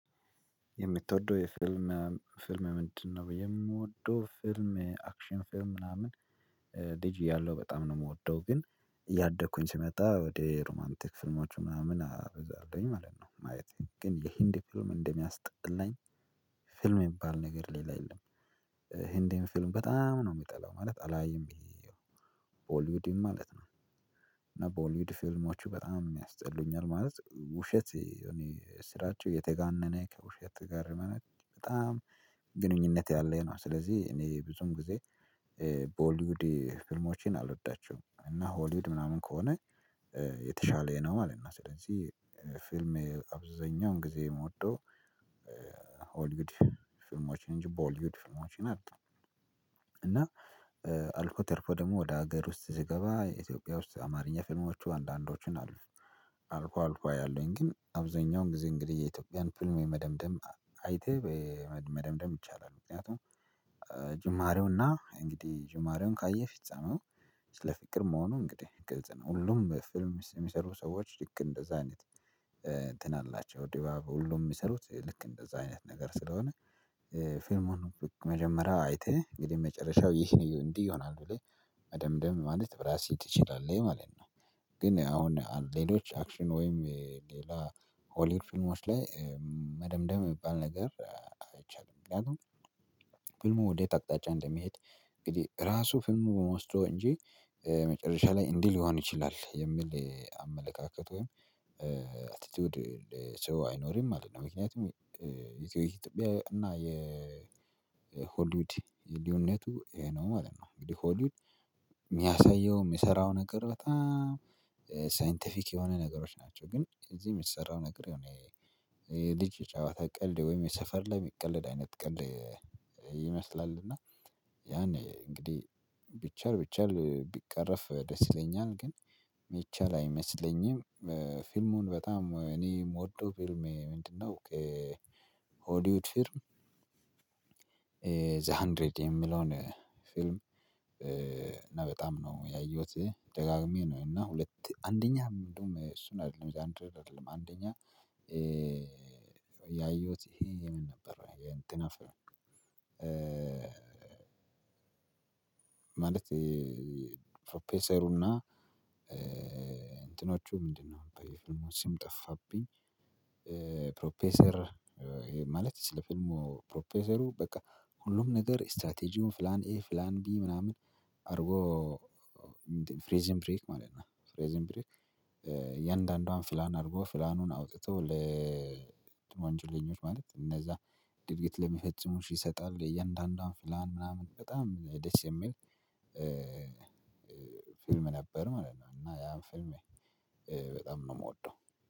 የምትወደው የፊልም ፊልም ምንድነው ብዬ የምወደው ፊልም አክሽን ፊልም ምናምን ልጅ እያለው በጣም ነው የምወደው ግን እያደኩኝ ስመጣ ወደ ሮማንቲክ ፊልሞቹ ምናምን አበዛለሁኝ ማለት ነው ማየት ነው ግን የህንድ ፊልም እንደሚያስጠላኝ ፊልም የሚባል ነገር ሌላ የለም ህንድን ፊልም በጣም ነው የሚጠላው ማለት አላይም ቦልዊድም ማለት ነው እና ቦልዊድ ፊልሞቹ በጣም ያስጠሉኛል ማለት ውሸት እኔ ስራቸው የተጋነነ ከውሸት ጋር በጣም ግንኙነት ያለኝ ነው ስለዚህ እኔ ብዙም ጊዜ ቦሊዉድ ፊልሞቼን አልወዳቸውም እና ሆሊውድ ምናምን ከሆነ የተሻለ ነው ነው ማለት ነው ስለዚህ ፊልሜ አብዛኛውን ጊዜ የምወደው ሆልይዉድ ፊልሞችን እንጂ በሆልይዉድ ፊልሞችን አጣ እና አልፎ ተርፎ ደግሞ ወደ ሀገር ውስጥ ሲገባ ኢትዮጵያ ውስጥ አማርኛ ፍልሞቹ አንዳንዶቹን አሉ። አልፎ አልፎ አያለውኝ ግን አብዛኛውን ጊዜ እንግዲህ የኢትዮጵያን ፊልም የመደምደም አይተህ መደምደም ይቻላል ምክንያቱም ጅማሬውና እንግዲህ ጅማሬውን ካየህ ፊጻሜው ስለ ፍቅር መሆኑ እንግዲህ ግልጽ ነው ሁሉም ፊልም ውስጥ የሚሰሩ ሰዎች ልክ እንደዛ አይነት እንትን አላቸው ድባብ ሁሉ የሚሰሩት ልክ እንደዛ አይነት ነገር ስለሆነ ፊልሙን መጀመሪያ አይተህ እንግዲህ መጨረሻው ይህ እንዲህ ይሆናሉ ብለህ መደምደም ማለት በራስህ ትችላለህ ማለት ነው ግን አሁን አንድ ሌሎች አክሽን ወይም ሌላ ሆሊውድ ፊልሞች ላይ መደምደም የሚባል ነገር አይቻልም እንደው ፊልሙ ወዴት አቅጣጫ እንደሚሄድ እንግዲህ ራሱ ፊልሙ በመውሰዱ እንጂ መጨረሻ ላይ እንዲህ ሊሆን ይችላል የሚል አመለካከት ወይም አቲቲዩድ ሰው አይኖርም ማለት ነው ምክንያቱም የኢትዮጵያ እና የሆሊውድ ልዩነቱ ይሄ ነው ማለት ነው እንግዲህ ሆሊውድ የሚያሳየው የሚሰራው ነገር በጣም ሳይንቲፊክ የሆነ ነገሮች ናቸው ግን እዚህ የሚሰራው ነገር የሆነ የልጅ ጫዋታ ቀልድ ወይም የሰፈር ላይ እሚቀለድ አይነት ቀልድ ይመስላል እና ያኔ እንግዲህ ቢቻል ቢቻል ቢቀረፍ ደስ ይለኛል ግን እሚቻል አይመስለኝም ፊልሙን በጣም እኔ የምወደው ፊልሜ ምንድነው ሆሊዉድ ፊልም ዘሃንድረድ የሚለውን ፊልም እና በጣም ነው ያየሁት ደጋግሜ ነው እና ሁለት አንደኛ እንደውም እሱን አይደለም አንደኛ ያየሁት ይሄ ምን ነበር የእንትና ፊልም ማለት ፕሮፌሰሩና እንትኖቹ ምንድነው የፍልሙን ስም ጠፋብኝ ፕሮፌሰር ማለት ስለ ፊልሙ ፕሮፌሰሩ በቃ ሁሉም ነገር ስትራቴጂውን ፍላን ኤ ፍላን ቢ ምናምን አርጎ ፍሬዝን ብሬክ ማለት ነው ፍሬዝን ብሬክ እያንዳንዷን ፍላን አድርጎ ፍላኑን አውጥቶ ለወንጀለኞች ማለት እነዛ ድርጊት ለሚፈጽሙ ይሰጣል እያንዳንዷን ፍላን ምናምን በጣም ደስ የሚል ፊልም ነበር ማለት ነው እና ያን ፊልም በጣም ነው ምወደው